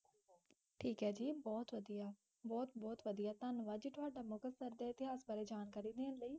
ਠੀਕ ਹੈ ਜੀ ਬਹੁਤ ਵਧੀਆ, ਬਹੁਤ ਬਹੁਤ ਵਧੀਆ ਧੰਨਵਾਦ ਜੀ ਤੁਹਾਡਾ ਮੁਕਤਸਰ ਦੇ ਇਤਿਹਾਸ ਬਾਰੇ ਜਾਣਕਾਰੀ ਦੇਣ ਲਈ।